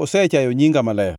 ok ginege,